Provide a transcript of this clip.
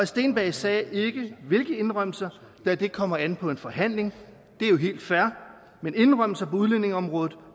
steenberg sagde ikke hvilke indrømmelser da det kommer an på en forhandling det er jo helt fair men indrømmelser på udlændingeområdet